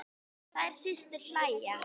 Þær systur hlæja.